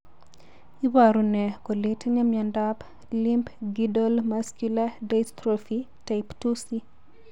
Iporune kole itinye miondap Limb girdle muscular dystrophy, type 2C?